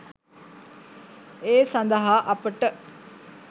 ඒ සඳහා අපට